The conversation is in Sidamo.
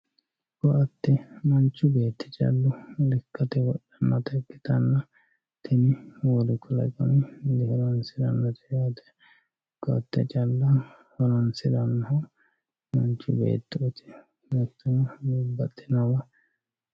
koatte manchu beetti callu lekkate wodhannota ikkitanna tini wolu kalaqami di horonsirannote yaate koatte calla horonsirannohu manchi beettooti hattono babbaxinowa...